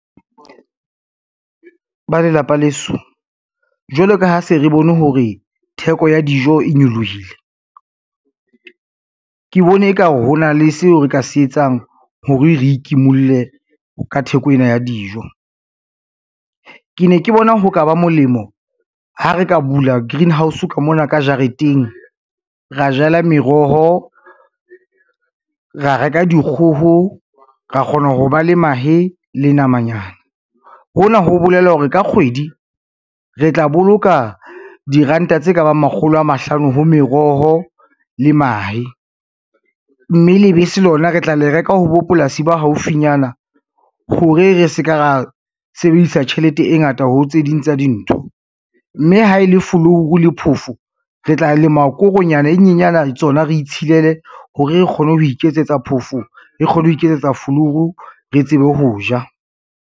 Ba lelapa leso jwalo ka ha se re bone hore theko ya dijo e nyolohile, ke bone e ka ho na le seo re ka se etsang ho re re ikimulle ka theko ena ya dijo. Ke ne ke bona ho ka ba molemo ha re ka bula greenhouse ka mona ka jareteng, ra jala meroho, ra reka dikgoho, ra kgona ho ba le mahe le nama nyana. Hona ho bolela hore ka kgwedi re tla boloka diranta tse ka bang makgolo a mahlano ho meroho le mahe, mme lebese lona re tla le reka ho bo polasi ba haufinyana hore re ska ra sebedisa tjhelete e ngata ho tse ding tsa dintho, mme ha e le folouru le phofo, re tla lema koronyana e nyenyana le tsona re itshilele hore re kgone ho iketsetsa phofo, re kgone ho iketsetsa folouru, re tsebe ho ja.